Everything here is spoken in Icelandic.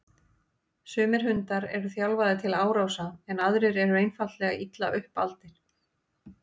Sumir hundar eru þjálfaðir til árása en aðrir eru einfaldlega illa upp aldir.